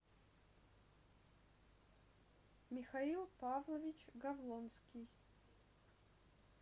михаил павлович гавлонский